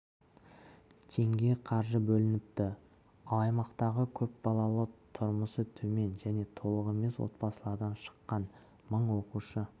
теңге қаржы бөлініпті ал аймақтағы көпбалалы тұрмысы төмен және толық емес отбасылардан шыққан мың оқушы